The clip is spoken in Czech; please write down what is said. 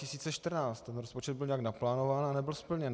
Ten rozpočet byl nějak naplánován a nebyl splněn.